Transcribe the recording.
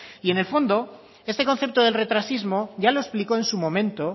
y en el fondo este concepto del retrasismo ya lo explicó en su momento